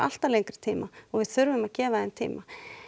alltaf lengri tíma og við þurfum að gefa þeim tíma